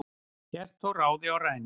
hélt þó ráði og rænu